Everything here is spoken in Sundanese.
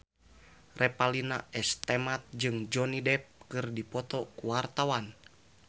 Revalina S. Temat jeung Johnny Depp keur dipoto ku wartawan